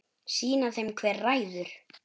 Sýna þeim hver ræður.